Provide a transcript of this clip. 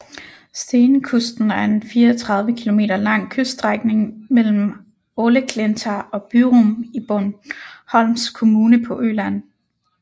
Stenkusten er en 34 kilometer lang kyststrækning mellem Äleklinta og Byrum i Borgholms kommune på Øland